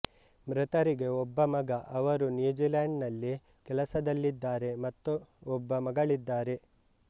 ಮೃತರಿಗೆ ಒಬ್ಬ ಮಗ ಅವರು ನ್ಯೂಜಿಲೆಂಡ್ ನಲ್ಲಿ ಕೆಲಸದಲ್ಲಿದ್ದಾರೆ ಮತ್ತು ಒಬ್ಬ ಮಗಳಿದ್ದಾರೆ